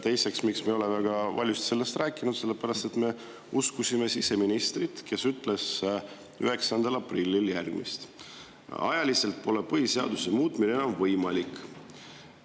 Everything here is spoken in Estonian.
Teiseks, miks me valjult sellest rääkinud: sellepärast, et me uskusime siseministrit, kes ütles 9. aprilli järgmist: "Ajaliselt pole põhiseaduse muutmine enam võimalik.